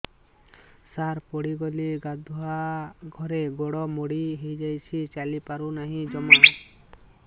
ସାର ପଡ଼ିଗଲି ଗାଧୁଆଘରେ ଗୋଡ ମୋଡି ହେଇଯାଇଛି ଚାଲିପାରୁ ନାହିଁ ଜମା